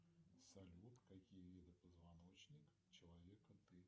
салют какие виды позвоночник человека ты